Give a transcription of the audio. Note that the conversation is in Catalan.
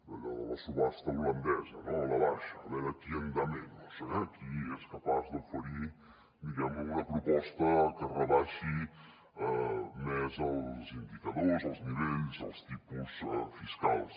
allò de la subhasta holandesa no a la baixa a veure quién da menos eh qui és capaç d’oferir diguem ne una proposta que rebaixi més els indicadors els nivells els tipus fiscals